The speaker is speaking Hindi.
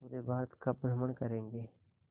पूरे भारत का भ्रमण करेंगे